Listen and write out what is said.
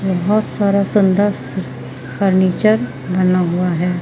बहुत सारा सुंदर फर्नीचर बना हुआ है।